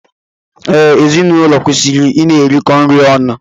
Ee, ezinụlọ kwesịrị I na-erikọ nri ọnụ.